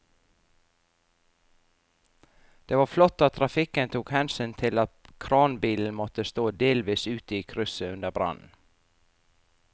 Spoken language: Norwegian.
Det var flott at trafikken tok hensyn til at kranbilen måtte stå delvis ute i krysset under brannen.